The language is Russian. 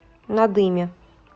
надыме